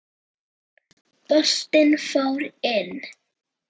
Boltinn fór inn.